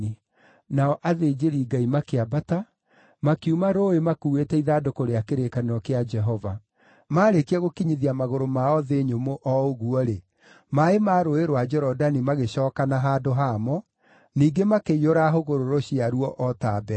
Nao athĩnjĩri-Ngai makĩambata, makiuma rũũĩ makuuĩte ithandũkũ rĩa kĩrĩkanĩro kĩa Jehova. Maarĩkia gũkinyithia magũrũ mao thĩ nyũmũ o ũguo-rĩ, maaĩ ma Rũũĩ rwa Jorodani magĩcookana handũ hamo, ningĩ makĩiyũra hũgũrũrũ ciaruo o ta mbere.